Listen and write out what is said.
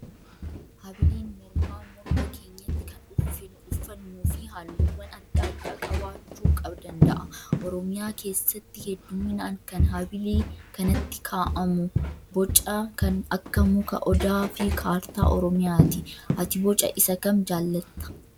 Habiliin mormaa morma keenyatti kan uffannuu fi halluuwwan adda addaa qabaachuu danda'a. Oromiyaa keessatti hedduminaan kan habilii kanatti kaa'amu boca kan akka muka odaa fi kaartaa oromiyaati. Ati boca isa kam jaallattaa?